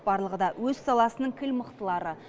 барлығы да өз саласының кіл мықтылары